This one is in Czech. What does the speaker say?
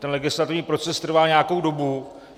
Ten legislativní proces trvá nějakou dobu.